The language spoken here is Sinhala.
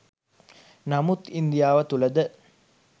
නමුත් ඉන්දියාව තුළ ද